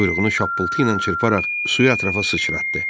Quyruğunu şappıltı ilə çırparaq suyu ətrafa sıçratdı.